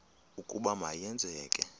ukuba ma yenzeke